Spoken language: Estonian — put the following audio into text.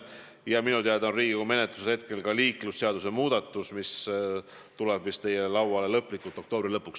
Ja minu teada on Riigikogu menetluses ka liiklusseaduse muudatus, mis tuleb vist lõplikult teie lauale oktoobri lõpuks.